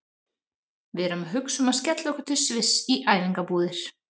Við erum að hugsa um að skella okkur til Sviss í æfingabúðir.